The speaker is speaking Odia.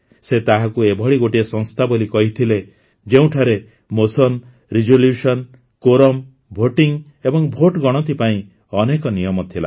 ସେ ତାହାକୁ ଏଭଳି ଗୋଟିଏ ସଂସ୍ଥା ବୋଲି କହିଥିଲେ ଯେଉଁଠାରେ ମୋସନ୍ସ ରିଜୋଲୁ୍ୟସନ୍ସ କୋରମ୍ ଭୋଟିଂ ଏବଂ ଭୋଟଗଣତି ପାଇଁ ଅନେକ ନିୟମ ଥିଲା